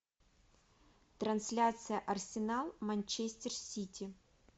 трансляция арсенал манчестер сити